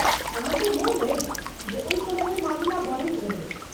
अहाँ के मोन अछि जे ओहि समयमे मामिला बढ़ैत रहै?